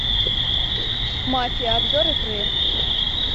мафия обзор игры